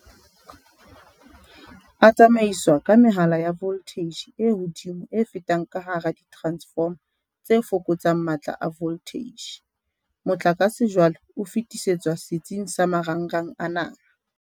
"A tsamaiswa ka mehala ya voltheije e hodimo e fetang ka hara diteransefoma tse fokotsang matla a voltheije. Motlakase jwale o fetisetswa setsing sa marangrang a naha."